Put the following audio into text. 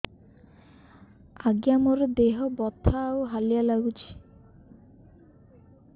ଆଜ୍ଞା ମୋର ଦେହ ବଥା ଆଉ ହାଲିଆ ଲାଗୁଚି